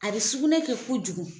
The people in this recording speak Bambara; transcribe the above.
A bɛ sugunɛ kɛ kojugu.